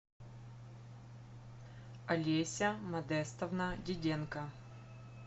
олеся модестовна диденко